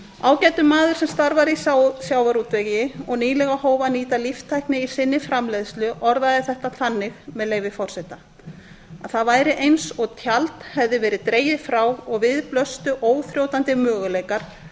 ágætur maður sem starfar í sjávarútvegi og nýlega hóf að nýta líftækni í sinni framleiðslu orðaði þetta þannig með leyfi forseta að það væri eins og tjald hefði verið dregið frá og við blöstu óþrjótandi möguleikar